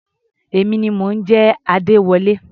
Èmi ni mò ń jẹ́ Adéwọlé.